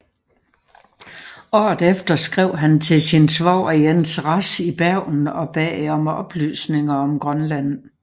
Året efter skrev han til sin svoger Jens Rasch i Bergen og bad om oplysninger om Grønland